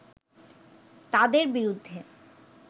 তাঁদের বিরুদ্ধে